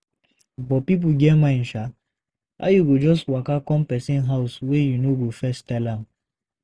But pipo get mind sha. How you go just waka come pesin house wey you no go first tel am?